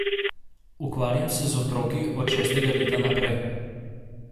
Ukvarjam se z otroki od šestega leta naprej.